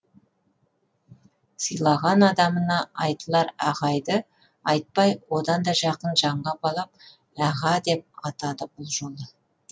сыйлаған адамына айтылар ағайды айтпай одан да жақын жанға балап аға деп атады бұл жолы